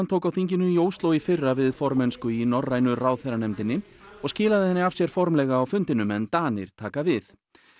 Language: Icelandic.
tók á þinginu í Ósló í fyrra við formennsku í norrænu ráðherranefndinni og skilaði henni af sér formlega á fundinum en Danir taka við